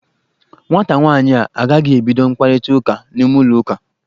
Nwata nwaanyị a agaghị ebido mkparịta ụka n'ime ulọ ụka.